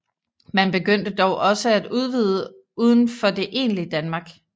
Man begyndte dog også at udvide udenfor det egentlige Danmark